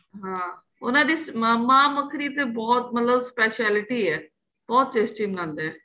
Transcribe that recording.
ਹਾਂ ਉਹਨਾ ਦੀ ਮਾਂਹ ਮਹਾਂ ਮੱਖਣੀ ਤੇ ਬਹੁਤ ਮਤਲਬ ਤੇ specialty ਏ ਬਹੁਤ tasty ਬਣਦਾ